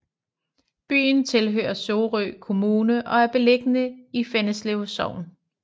Byen tilhører Sorø Kommune og er beliggende i Fjenneslev Sogn